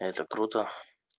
это круто